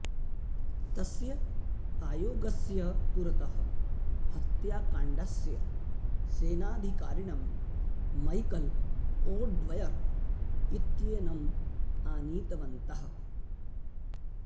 तस्य आयोगस्य पुरतः हत्याकाण्डस्य सेनाधिकारिणं मैकल् ओ ड्वयर् इत्येनम् आनीतवन्तः